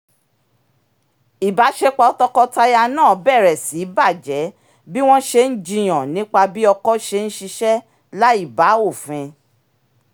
ìbáṣepọ̀ tọkọtaya náà bẹ̀rẹ̀ sí í bàjẹ́ bí wọ́n ṣe ń jiyàn nípa bí ọkọ ṣe ń ṣiṣẹ́ láìbá òfin